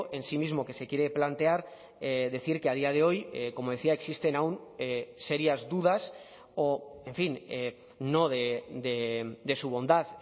en sí mismo que se quiere plantear decir que a día de hoy como decía existen aun serias dudas o en fin no de su bondad